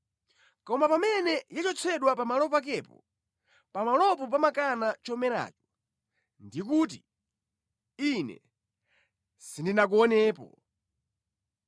Koma pamene yachotsedwa pamalo pakepo, pamalopo pamakana chomeracho ndi kuti, ‘Ine sindinakuonepo.’